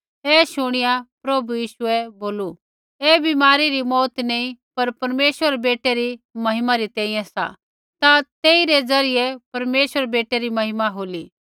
ऐ शूणीया प्रभु यीशुऐ बोलू ऐ बीमारी री मौऊत नैंई पर परमेश्वर रै बेटै महिमा री तैंईंयैं सा ता तेई रै ज़रियै परमेश्वरै रै बेटै री महिमा होली